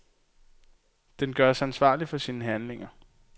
Den gøres ansvarlig for sine handlinger.